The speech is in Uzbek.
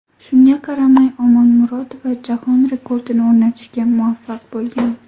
Shunga qaramay, Omonmurodova jahon rekordini o‘rnatishga muvaffaq bo‘lgan.